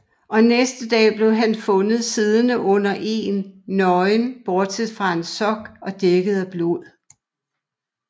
Og næste dag blev han fundet siddende under egen nøgen bortset fra en sok og dækket af blod